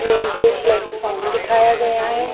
Railway platform दिखाया गया है।